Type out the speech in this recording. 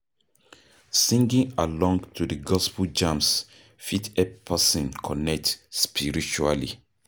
Singing along to the gospel jams fit help person connect spiritually